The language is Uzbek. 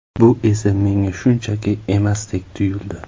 Bu esa menga shunchaki emasdek tuyuldi”.